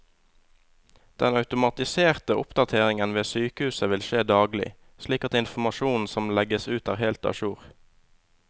Den automatiserte oppdateringen ved sykehusene vil skje daglig, slik at informasjonen som legges ut er helt a jour.